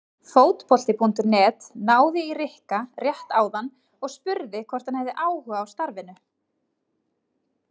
Fótbolti.net náði í Rikka rétt áðan og spurði hvort hann hefði áhuga á starfinu?